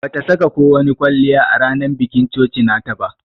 Bata saka ko wani kwalliya a ranan bikin coci nata ba.